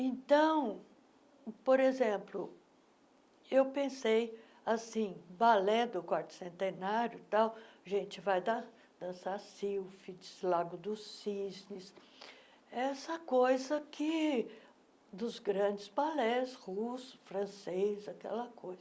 Então, por exemplo, eu pensei assim, balé do quarto centenário e tal, a gente vai da dançar silfes, lago dos cisnes, essa coisa que dos grandes balés, russo, francês, aquela coisa.